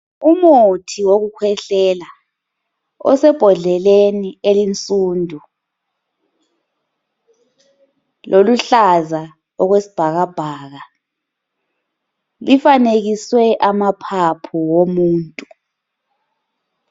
Umuthi wokukhwehlela osebhodleleni elinsundu loluhlaza okwesibhakabhaka. Lifanekiswe amaphaphu womuntu.